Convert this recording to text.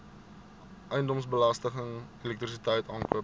eiendomsbelasting elektrisiteit aankope